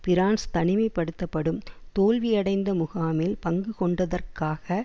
France தனிமை படுத்தப்படும் தோல்வியடைந்த முகாமில் பங்குகொண்டதற்காக